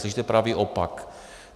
Slyšíte pravý opak.